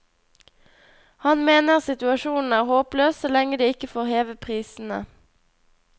Han mener situasjonen er håpløs så lenge de ikke får heve prisene.